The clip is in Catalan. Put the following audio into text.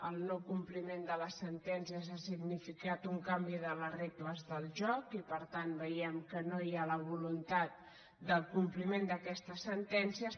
el no·compliment de les sentències ha signifi·cat un canvi de les regles del joc i per tant veiem que no hi ha la voluntat del compliment d’aquestes sentèn·cies